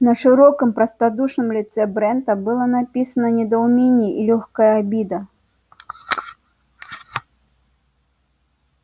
на широком простодушном лице брента было написано недоумение и лёгкая обида